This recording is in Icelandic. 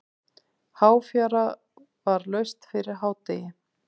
Háfjara var laust fyrir hádegi.